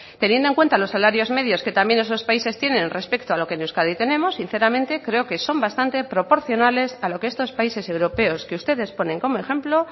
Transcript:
teniendo en cuenta los salarios medios que también esos países tienen respecto a lo que en euskadi tenemos sinceramente creo que son bastante proporcionales a lo que estos países europeos que ustedes ponen como ejemplo